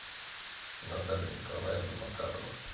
наталья николаевна макарова